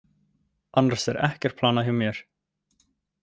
Annars er ekkert planað hjá mér.